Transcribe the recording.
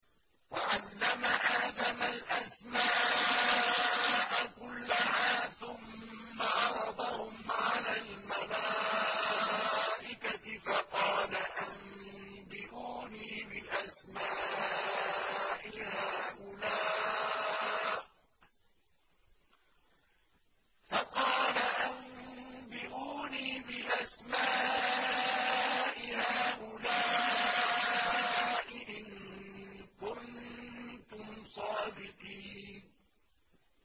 وَعَلَّمَ آدَمَ الْأَسْمَاءَ كُلَّهَا ثُمَّ عَرَضَهُمْ عَلَى الْمَلَائِكَةِ فَقَالَ أَنبِئُونِي بِأَسْمَاءِ هَٰؤُلَاءِ إِن كُنتُمْ صَادِقِينَ